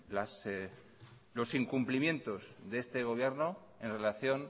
los incumplimientos de este gobierno en relación